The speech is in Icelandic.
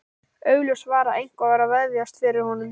Augljóst var að eitthvað var að vefjast fyrir honum.